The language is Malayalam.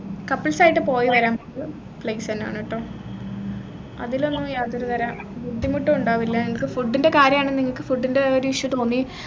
couples ആയിട്ട് പോയിട്ട് വരാൻ place എന്നെ ആണേ ട്ടൊ അതിലുന്ന് യാതൊരു തര ബുദ്ധിമുട്ടും ഉണ്ടാവില്ല നിങ്ങൾക് food ന്റെ കാര്യായാണ് നിങ്ങക്ക് food ന്റെ ഒരു issue തോന്നി